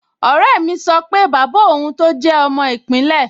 Ọ̀rẹ́ mi sọ pé bàbá òun tọ́ jẹ́ ọmọ ìpínlẹ̀